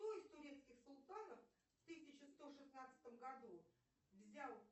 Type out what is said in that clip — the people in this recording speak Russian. кто из турецких султанов в тысяча сто шестнадцатом году взял